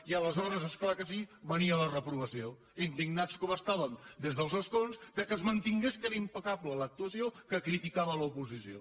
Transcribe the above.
i aleshores és clar que sí venia la reprovació indignats com estàvem des dels escons que es mantingués que era impecable l’actuació que criticava l’oposició